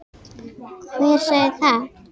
Hver sagði það?